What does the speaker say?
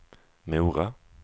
Mora